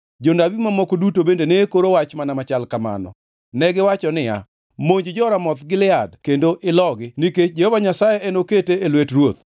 Jonabi mamoko duto bende ne koro wach mana machal kamano. Negiwacho niya, “Monj jo-Ramoth Gilead kendo ilogi, nikech Jehova Nyasaye enokete e lwet ruoth.”